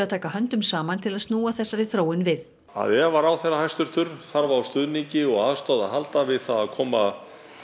taka höndum saman til að snúa þessari þróun við ef að ráðherra hæstvirtur þarf á stuðningi og aðstoð að halda við það að koma